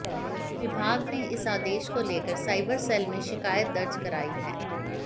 विभाग ने इस आदेश को लेकर साइबर सेल में शिकायत दर्ज कराई है